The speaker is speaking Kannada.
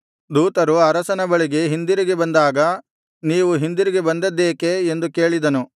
ದೂತರು ಅರಸನ ಬಳಿಗೆ ಹಿಂದಿರುಗಿ ಬಂದಾಗ ನೀವು ಹಿಂದಿರುಗಿ ಬಂದ್ದದೇಕೆ ಎಂದು ಕೇಳಿದನು